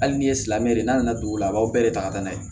Hali ni ye silamɛ de n'a nana dugu la a b'aw bɛɛ de ta ka taa n'a ye